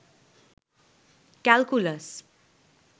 calculus